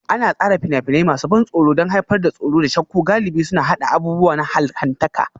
An tsara fina-finai masu ban tsoro don haifar da tsoro da shakku, galibi suna haɗa abubuwa na allahntaka